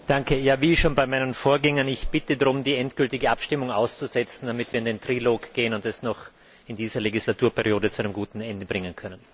Herr Präsident! Wie schon bei meinen Vorgängern Ich bitte darum, die endgültige Abstimmung auszusetzen, damit wir in den Trilog gehen und das noch in dieser Legislaturperiode zu einem guten Ende bringen können.